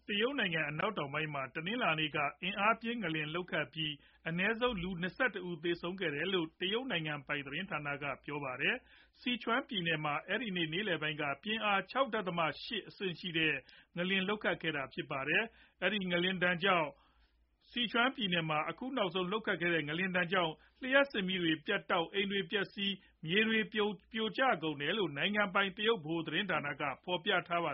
တရုတ်နိုင်ငံ အနောက်တောင်ပိုင်း မှာ တနင်္လာနေ့က အင်အားပြင်း ငလျင်လှုပ်ခတ်ပြီး အနည်းဆုံးလူ ၂၁ ဦးသေဆုံးခဲ့တယ်လို့ တရုတ် နိုင်ငံပိုင် သတင်းဌာန က ကြေညာပါတယ်။ Sichuan ပြည်နယ်မှာ အဲဒီနေ့ နေလည်ပိုင်းလောက်က ပြင်းအား ၆ ဒသမ ၈ အဆင့် ရှိတဲ့ ငလျင် လှုပ်ခတ်ခဲ့တာဖြစ်ပါတယ်။ မကြာခဏ ငလျင်ဒဏ် ခံရလေ့ရှိတဲ့ ဇီချွန်ပြည်နယ်မှာ အခုနောက်ဆုံး လှုပ်ခတ်တဲ့ ငလျင်ကြောင့် လျှပ်စစ်မီးတွေ ပြတ်တောက်၊ အိမ်တွေပျက်စီးပြီး မြေတွေပြိုကျ ကုန်တယ်လို့လည်း နိုင်ငံပိုင် တရုတ်ဗဟိုသတင်းဌာနက ဖော်ပြကြပါ